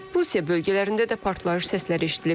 Rusiya bölgələrində də partlayış səsləri eşidilib.